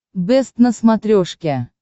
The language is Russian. бэст на смотрешке